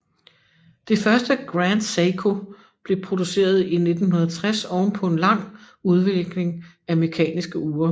Det første Grand Seiko blev produceret i 1960 oven på en lang udvikling af mekaniske ure